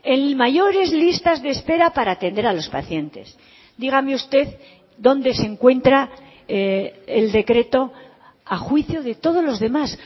en mayores listas de espera para atender a los pacientes dígame usted dónde se encuentra el decreto a juicio de todos los demás